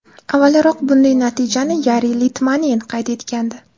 Avvalroq bunday natijani Yari Litmanen qayd etgandi.